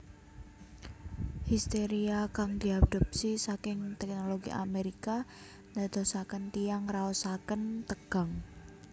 Histeria kang diadopsi saking teknologi Amerika ndadosaken tiyang ngraosaken tegang